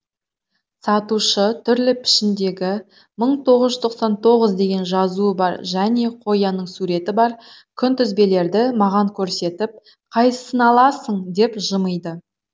сатушы түрлі пішіндегі мың тоғыз жүз тоқсан тоғыз деген жазуы бар және қоянның суреті бар күнтізбелерді маған көрсетіп қайсысын аласың деп жымиды